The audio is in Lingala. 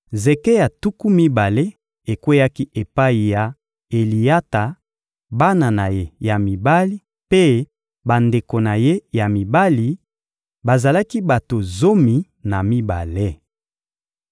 Zeke ya tuku mibale ekweyaki epai ya Eliyata, bana na ye ya mibali mpe bandeko na ye ya mibali: bazalaki bato zomi na mibale.